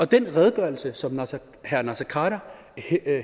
den redegørelse som herre naser khader